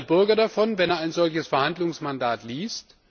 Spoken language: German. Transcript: Was hat denn der Bürger davon, wenn er ein solches Verhandlungsmandat liest?